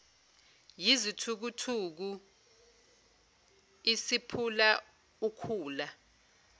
yizithukuthuku isiphula ukhula